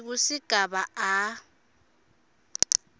skv sigaba a